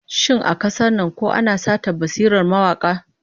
Shin a kasar nan ko ana satar basirar mawaka?